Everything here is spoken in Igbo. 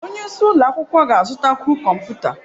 Onye isi ụlọ akwụkwọ ga-azụtakwu kọmputa.